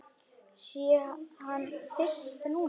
Sé hann fyrst núna.